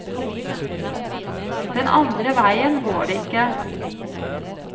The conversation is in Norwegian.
Den andre veien går det ikke.